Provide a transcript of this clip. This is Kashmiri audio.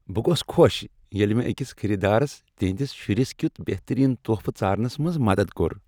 بہٕ گوس خوش ییٚلہ مےٚ أکس خریٖدارس تہنٛدس شرس کیُتھ بہترین تحفہٕ ژارنس منز مدد کوٚر۔